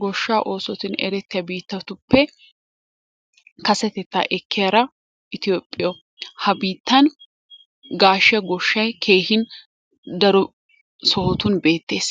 Goshshaa oosotun eretiyaa biittatuppe kasetettaa ekkiyaara Etoophphiyo, ha biittan gaashiya goshshay keehin daro sohotun beettees.